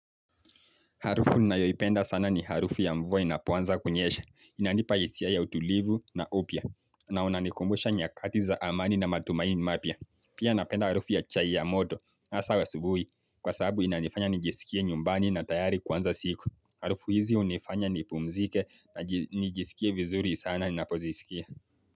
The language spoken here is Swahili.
Harufu ninayoipenda sana ni harufu ya mvua inapoanza kunyesha. Inanipa hisia ya utulivu na upya. Na unanikumbusha nyakati za amani na matumaini mapya. Pia napenda harufu ya chai ya moto hasa asubuhi. Kwa sababu inanifanya nijisikie nyumbani na tayari kwanza siku. Harufu hizi hunifanya nipumzike na nijisikie vizuri sana ninapozisikia.